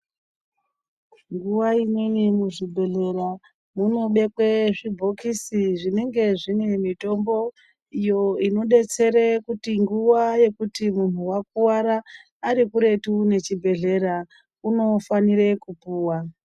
Nguva imweni muzvibhedhlera munobekwa zvibhokisi zvinonge zvinemitombo iyo inodetsere kuti nguwa iyo yekuti muntu wakuwara, arikuretu nechibhedhlera, unofanire kupuwa.